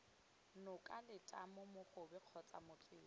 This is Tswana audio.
noka letamo mogobe kgotsa motswedi